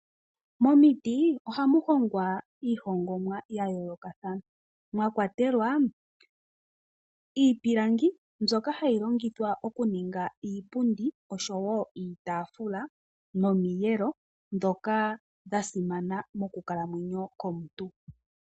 Momiti ohamu hongwa , iihongomwa ya yoolokathana mwa kwatelwa iipilangi mbyoka hayi longithwa oku ninga iipundi osho woo iitafula nomiyeelo dhoka dha simana mokulamwenyo komuntu.